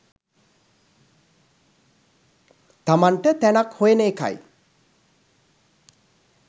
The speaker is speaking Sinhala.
තමන්ට තැනක් හොයන එකයි.